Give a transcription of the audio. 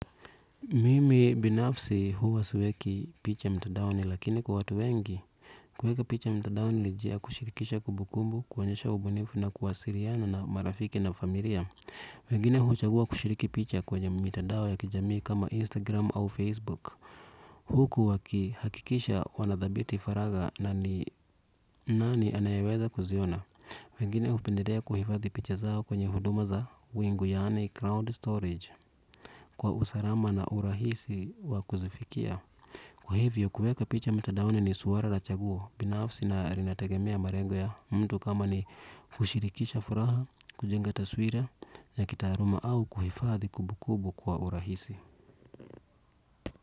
Mimi binafsi huwa siweki picha mtadaoni, lakini kwa watu wengi, kuweka picha mtadaoni ni njia ya kushirikisha kumbukumbu, kuonyesha ubunifu na kuwasiliana na marafiki na familia. Wengine huchagua kushiriki picha kwenye mitandao ya kijamii kama Instagram au Facebook. Huku waki hakikisha wanadhabiti faraga na ni nani anayeweza kuziona. Wengine hupendelea kuhifathi picha zao kwenye huduma za wingu yaani crowd storage. Kwa usalama na urahisi wa kuzifikia kwa hivyo kuweka picha mitadaoni ni swala la chaguo binafsi na linatagemea malengo ya mtu kama ni kushirikisha furaha kujenga taswira ya kitaaluma au kuhifadhi kumbu kumbu kwa urahisi.